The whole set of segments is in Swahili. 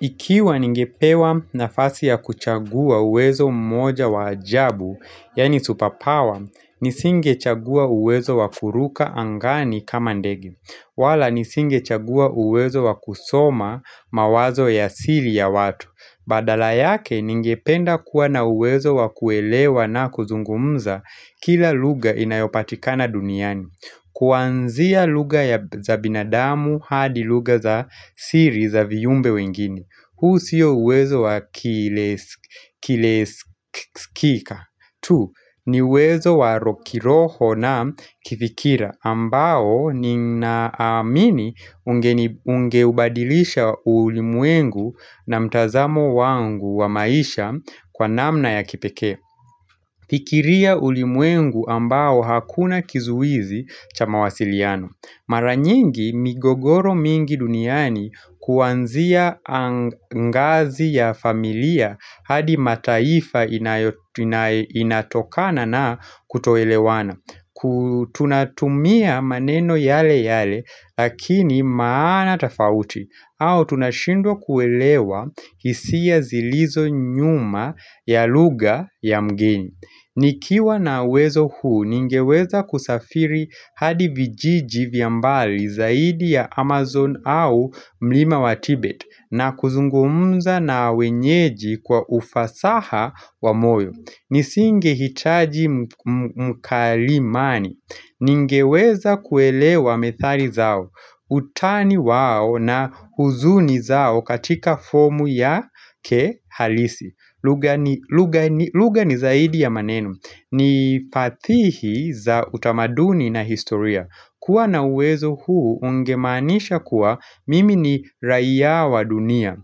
Ikiwa ningepewa nafasi ya kuchagua uwezo mmoja wa ajabu, yaani super power, nisingechagua uwezo wa kuruka angani kama ndege wala nisingechagua uwezo wa kusoma mawazo ya siri ya watu. Badala yake ningependa kuwa na uwezo wa kuelewa na kuzungumza kila lugha inayopatikana duniani Kwanzia lugha ya za binadamu hadi lugha za siri za viumbe wengine huu sio uwezo wa kiles kileskika tu, ni uwezo wa kiroho na kifikira ambao ninaamini ungeni ungeubadilisha ulimwengu na mtazamo wangu wa maisha kwa namna ya kipekee. Fikiria ulimwengu ambao hakuna kizuizi cha mawasiliano. Mara nyingi migogoro mingi duniani kwanzia angazi ya familia hadi mataifa inayo ina inatokana na kutoelewana. Ku tunatumia maneno yale yale lakini maana tofauti au tunashindwa kuelewa hisia zilizo nyuma ya lugha ya mgeni Nikiwa na uwezo huu ningeweza kusafiri hadi vijiji vya mbali zaidi ya Amazon au mlima wa Tibet na kuzungumza na wenyeji kwa ufasaha wa moyo nisingehitaji mkalimani Ningeweza kuelewa methali zao Utani wao na huzuni zao katika fomu yake halisi lugha ni lugha lugha ni zaidi ya maneno ni fadhihi za utamaduni na historia. Kuwa na uwezo huu ungemaanisha kuwa mimi ni raia wa dunia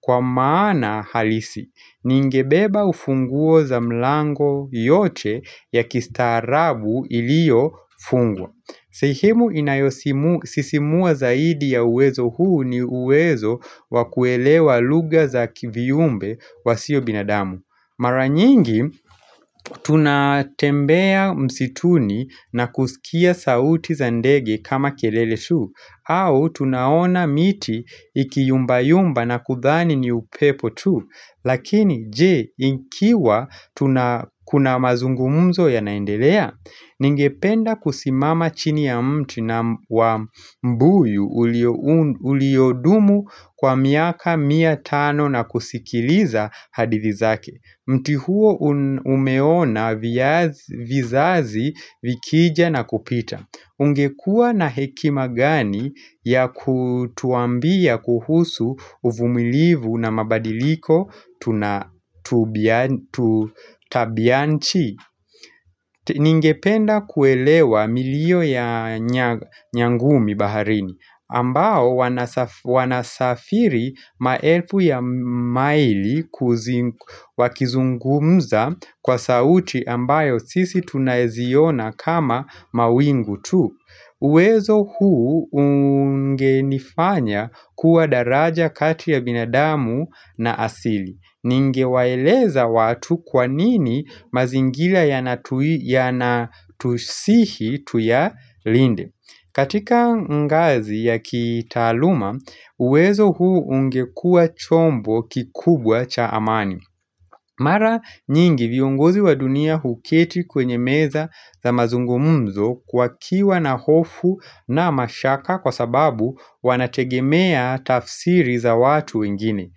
kwa maana halisi ningebeba ufunguo za mlango yote ya kistaarabu iliyofungwa sehemu inayosimu sisimua zaidi ya uwezo huu ni uwezo wa kuelewa lugha za ki viumbe wasio binadamu. Mara nyingi tunatembea msituni na kusikia sauti za ndege kama kelele tu au tunaona miti ikiyumba yumba na kudhani ni upepo tu Lakini je, ikiwa tuna kuna mazungumuzo yanaendelea? Ningependa kusimama chini ya mti na wa mbuyu uliou uliodumu kwa miaka mia tano na kusikiliza hadithi zake. Mti huo umeona viaz vizazi vikija na kupita. Ungekua na hekima gani ya kutuambia kuhusu uvumilivu na mabadiliko tuna tubia tu tabia nchi Ningependa kuelewa milio ya nya nyangumi baharini ambao wanasa wanasafiri maelfu ya maili kuzi wakizungumza kwa sauti ambayo sisi tunaziona kama mawingu tu uwezo huu ungenifanya kuwa daraja kati ya binadamu na asili. Ningewaeleza watu kwanini mazingira yanatu yanatusihi tuya linde. Katika ngazi ya kitaaluma, uwezo huu ungekua chombo kikubwa cha amani. Mara nyingi viongozi wa dunia huketi kwenye meza za mazungumuzo wakiwa na hofu na mashaka kwa sababu wanategemea tafsiri za watu ingine.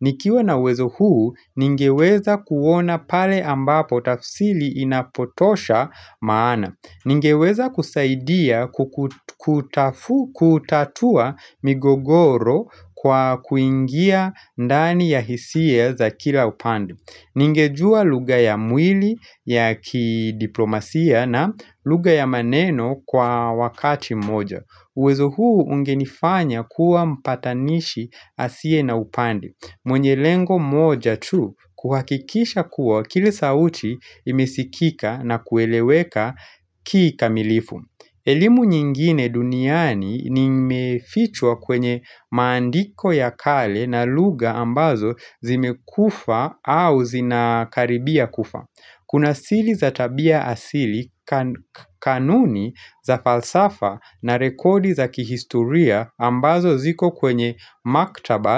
Nikiwa na uwezo huu, ningeweza kuona pale ambapo tafsiri inapotosha maana. Ningeweza kusaidia ku kutaf kutatua migogoro kwa kuingia ndani ya hisie za kila upandi Ningejua lugha ya mwili ya kidiplomasia na lugha ya maneno kwa wakati moja uwezo huu ungenifanya kuwa mpatanishi asiye na upandi mwenye lengo moja tu kuhakikisha kuwa kila sauti imesikika na kueleweka kika milifu. Elimu nyingine duniani nimeficha kwenye maandiko ya kale na lugha ambazo zimekufa au zinakaribia kufa. Kuna siri za tabia asili kanuni za falsafa na rekodi za kihistoria ambazo ziko kwenye maktaba.